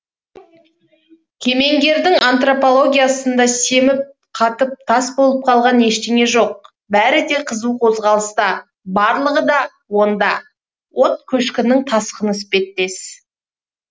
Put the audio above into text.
кемеңгердің антропологиясында семіп қатып тас болып қалған ештеңе жоқ бәрі де қызу қозғалыста барлығы да онда от көшкінінің тасқыны іспеттес